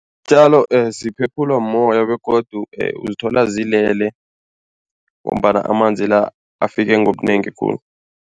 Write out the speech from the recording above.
Iintjalo ziphephulwa mmoya begodu uzithola zilele ngombana amanzi la, afike ngobunengi khulu.